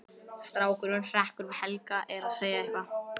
Strákurinn hrekkur við, Helga er að segja eitthvað.